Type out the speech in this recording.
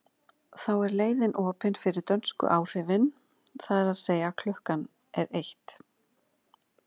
Þá er leiðin opin fyrir dönsku áhrifin, það er að segja að klukkan er eitt.